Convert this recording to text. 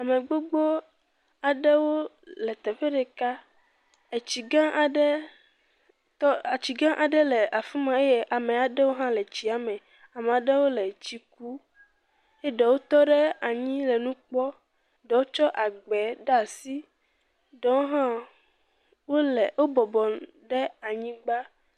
Ame gbogbo aɖewo le teƒe ɖeka, tsi gã aɖe tɔ etsi gã aɖe le afi ma eye ame aɖewo hã le tsia me. Ame aɖewo le tsi kum eye ɖewo tɔ ɖe anyi le nu kpɔm. Ɖewo tsɔ agba ɖe asi, ɖewo hã wobɔbɔ nɔ ɖe anyigba.